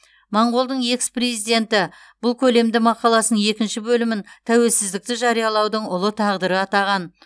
моңғолдың экс президенті бұл көлемді мақаласының екінші бөлімін тәуелсіздікті жариялаудың ұлы тағдыры атаған